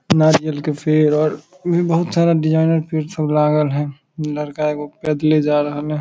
नारियल के पेड़ और भी बहुत सारा डिजाइनर पेड़ सब लागल हेय लड़का एगो पैदले जा रहले हेय।